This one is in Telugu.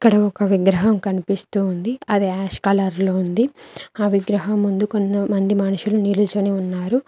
ఇక్కడ ఒక విగ్రహం కనిపిస్తుంది అది యాష్ కలర్ లో ఉంది ఆ విగ్రహం ముందు కొంతమంది మనుషులు నిల్చొని ఉన్నారు.